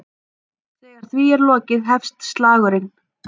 Þegar því er lokið hefst slagurinn.